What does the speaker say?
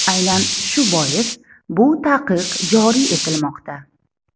Aynan shu bois bu taqiq joriy etilmoqda.